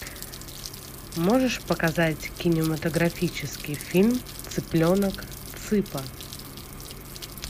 можешь показать кинематографический фильм цыпленок цыпа